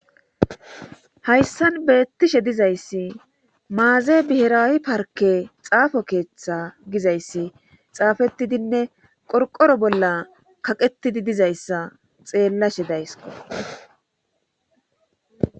hayssan beettishe dizayssi maaze bihiraawi parke xaafo keeththa gizayssi xaafetidinne qorqoro bolla kaqetidi dizayssa xeellashe daysko